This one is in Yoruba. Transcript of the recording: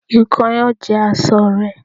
Ikán yóò jẹ aṣọ rẹ